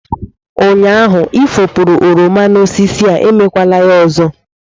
Ụnyaahụ ị efopuru oroma n'osisi a, emekwala ya ọzọ!